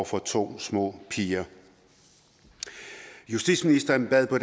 for to små piger justitsministeren bad på